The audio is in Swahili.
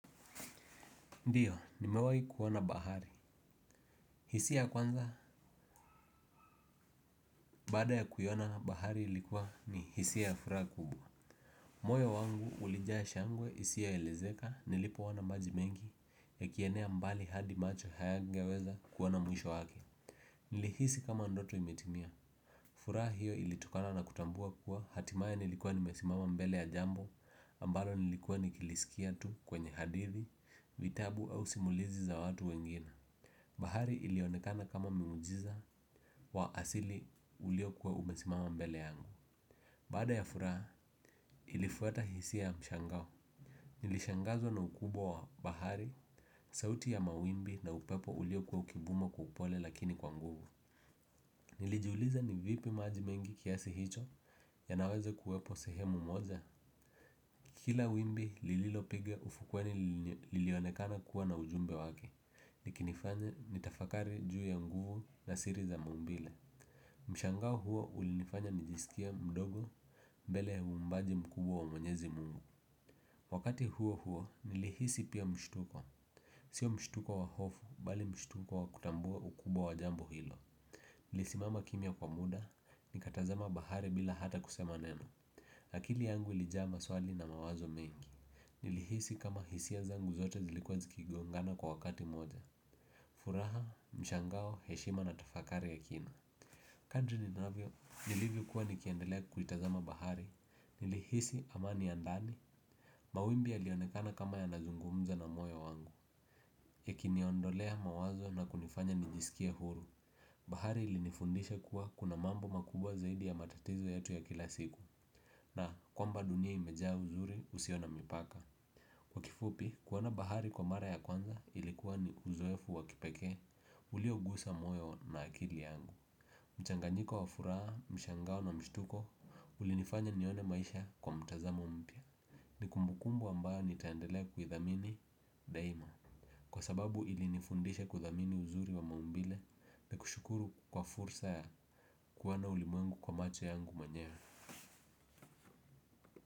Ndiyo, nimewahi kuona bahari. Hisia ya kwanza, baada ya kuiona, bahari ilikuwa ni hisia ya furaha kubwa. Moyo wangu, ulijaa shangwe, isiyoelezeka, nilipoona maji mengi, yakienea mbali hadi macho hayangeweza kuona mwisho wake. Nilihisi kama ndoto imetimia. Furaha hiyo ilitokana na kutambua kuwa hatimaye nilikuwa nimesimama mbele ya jambo, ambalo nilikuwa nikilisikia tu kwenye hadithi, vitabu au simulizi za watu wengine. Bahari ilionekana kama muujiza wa asili uliokuwa umesimama mbele yangu. Baada ya furaha ilifuata hisia ya mshangao. Nilishangazwa na ukubwa wa bahari. Sauti ya mawimbi na upepo uliokuwa ukivuma kwa upole lakini kwa nguvu. Nilijiuliza ni vipi maji mengi kiasi hicho yanaweza kuwepo sehemu moja. Kila wimbi lililopiga ufukweni lilionekana kuwa na ujumbe wake likinifanya nitafakari juu ya nguvu na siri za maumbile. Mshangao huo ulinifanya nijisikie mdogo mbele uumbaji mkubwa wa mwenyezi mungu. Wakati huo huo nilihisi pia mshtuko. Sio mshtuko wa hofu bali mshtuko wa kutambua ukubwa wa jambo hilo. Nilisimama kimya kwa muda nikatazama bahari bila hata kusema neno. Akili yangu ilijaa maswali na mawazo mengi. Nilihisi kama hisia zangu zote zilikuwa zikigongana kwa wakati mmoja furaha, mshangao, heshima na tafakari ya kina. Kadri ninavyo, nilivyokuwa nikiendelea kuitazama bahari, nilihisi amani ya ndani. Mawimbi yalionekana kama yanazungumza na moyo wangu yakiniondolea mawazo na kunifanya nijisikie huru. Bahari ilinifundisha kuwa kuna mambo makubwa zaidi ya matatizo yetu ya kila siku na kwamba dunia imejaa uzuri usio na mipaka. Kwa kifupi, kuona bahari kwa mara ya kwanza ilikuwa ni uzoefu wa kipekee uliogusa moyo na akili yangu. Mchanganyiko wa furaha, mshangao na mshtuko ulinifanya nione maisha kwa mtazamo mpya. Ni kumbukumbu ambayo nitaendelea kuidhamini daima. Kwa sababu ilinifundisha kudhamini uzuri wa maumbile na kushukuru kwa fursa ya kuona ulimwengu kwa macho yangu mwenyewe.